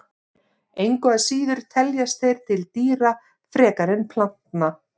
Engu að síður teljast þeir til dýra frekar en plantna.